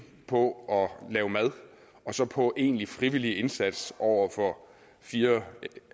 på at lave mad og så på egentlig frivillig indsats over for fire